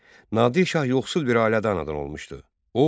Nadir Şah yoxsul bir ailədə anadan olmuşdu.